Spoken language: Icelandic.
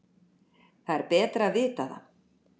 Það er betra að vita það.